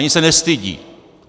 Ani se nestydí.